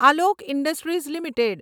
Alok industries limited